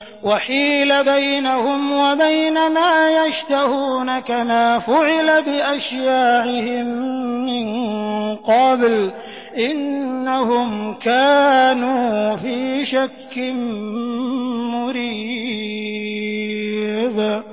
وَحِيلَ بَيْنَهُمْ وَبَيْنَ مَا يَشْتَهُونَ كَمَا فُعِلَ بِأَشْيَاعِهِم مِّن قَبْلُ ۚ إِنَّهُمْ كَانُوا فِي شَكٍّ مُّرِيبٍ